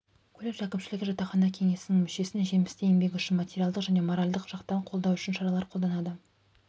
колледж әкімшілігі жатақхана кеңесінің мүшелерін жемісті еңбегі үшін материалдық және моральдық жақтан қолдау үшін шаралар қолданады